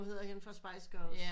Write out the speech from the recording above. Hvad hedder hende fra Spice Girls